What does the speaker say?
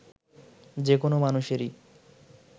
যে কোনো মানুষেরই